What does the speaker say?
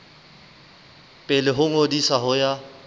pele ho ngodiso ho ya